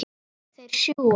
Þeir sjúga.